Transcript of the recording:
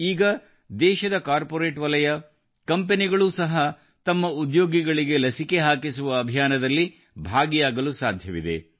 ಈಗ ದೇಶದ ಕಾರ್ಪೋರೇಟ್ ವಲಯ ಕಂಪೆನಿಗಳು ಸಹ ತಮ್ಮ ಉದ್ಯೋಗಿಗಳಿಗೆ ಲಸಿಕೆ ಹಾಕಿಸುವ ಅಭಿಯಾನದಲ್ಲಿ ಭಾಗಿಯಾಗಲು ಸಾಧ್ಯವಿದೆ